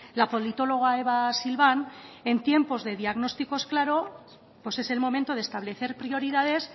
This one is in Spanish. la politóloga eva silván en tiempos de diagnósticos claros pues es el momento de establecer prioridades